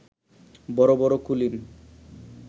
বড় বড় কুলীন